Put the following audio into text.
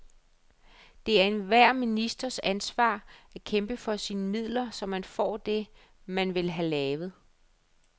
Det er enhver ministers ansvar at kæmpe for sine midler, så man får det, man vil have lavet.